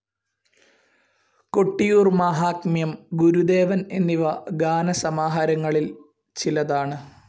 കൊട്ടിയൂർ മാഹാത്മ്യം, ഗുരുദേവൻ എന്നിവ ഗാന സമാഹാരങ്ങളിൽ ചിലതാണ്.